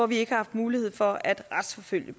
vi ikke haft mulighed for at retsforfølge